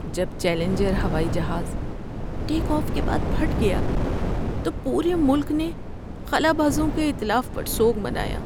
جب چیلنجر ہوائی جہاز ٹیک آف کے بعد پھٹ گیا تو پورے ملک نے خلابازوں کے اتلاف پر سوگ منایا۔